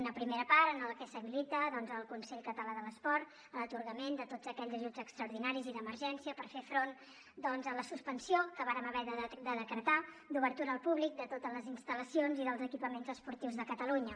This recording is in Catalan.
una primera part en què s’habilita el consell català de l’esport per a l’atorgament de tots aquells ajuts extraordinaris i d’emergència per fer front doncs a la suspensió que vàrem haver de decretar d’obertura al públic de totes les instal·lacions i dels equipaments esportius de catalunya